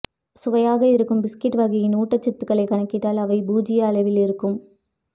சுவையாக இருக்கும் பிஸ்கட் வகையின் ஊட்டச்சத்துக்களை கணக்கிட்டால் அவை பூஜ்ஜிய அளவில் இருக்கும்